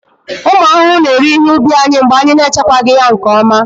ụmụ ahụhụ na-eri ihe ubi anyị mgbe anyị na-echekwaghị ya nke ọma